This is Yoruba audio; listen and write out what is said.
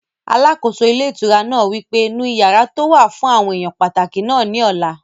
Alákóso ilé ìtura náà wí pé, "nu yàrá tó wà fún àwọn èèyàn pàtàkì náà ní ọ̀la